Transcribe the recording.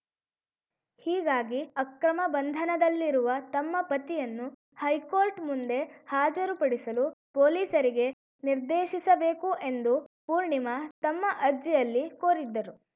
ಹೀಗಾಗಿ ಅಕ್ರಮ ಬಂಧನದಲ್ಲಿರುವ ತಮ್ಮ ಪತಿಯನ್ನು ಹೈಕೋರ್ಟ್‌ ಮುಂದೆ ಹಾಜರುಪಡಿಸಲು ಪೊಲೀಸರಿಗೆ ನಿರ್ದೇಶಿಸಬೇಕು ಎಂದು ಪೂರ್ಣಿಮಾ ತಮ್ಮ ಅರ್ಜಿಯಲ್ಲಿ ಕೋರಿದ್ದರು